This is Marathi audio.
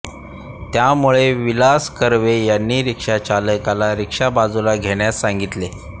त्यामुळे विलास किरवे यांनी रिक्षाचालकाला रिक्षा बाजूला घेण्यास सांगितले